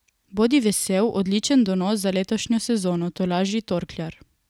Bodi vesel, odličen donos za letošnjo sezono, tolaži torkljar.